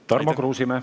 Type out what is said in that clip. Tarmo Kruusimäe.